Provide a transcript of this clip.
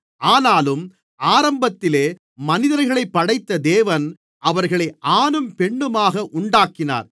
ஆனாலும் ஆரம்பத்திலே மனிதர்களைப் படைத்த தேவன் அவர்களை ஆணும் பெண்ணுமாக உண்டாக்கினார்